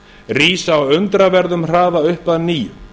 rísa með undraverðum hraða upp að nýju